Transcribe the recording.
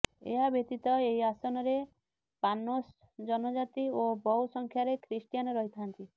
ଏହାବ୍ୟତୀତ ଏହି ଆସନରେ ପାନୋସ ଜନଜାତି ଓ ବହୁ ସଂଖ୍ୟାରେ ଖ୍ରୀଷ୍ଟିଆନ ରହିଥାନ୍ତି